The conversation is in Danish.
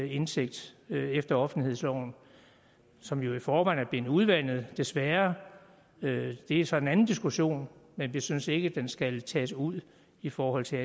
indsigt efter offentlighedsloven som jo i forvejen er blevet udvandet desværre det er så en anden diskussion men vi synes ikke den skal tages ud i forhold til